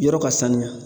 Yɔrɔ ka sanuya